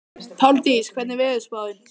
Páldís, hvernig er veðurspáin?